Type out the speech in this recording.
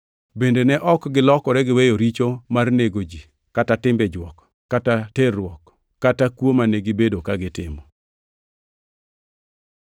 Bende ne ok gilokore giweyo richo mar nego ji, kata timbe jwok kata terruok kata kuo mane gibedo ka gitimo.